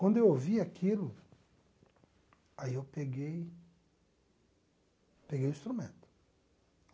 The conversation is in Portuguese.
Quando eu ouvi aquilo, aí eu peguei peguei o instrumento.